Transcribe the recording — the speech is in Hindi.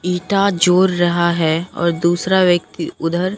ईंटा जोड़ रहा है और दूसरा व्यक्ति उधर --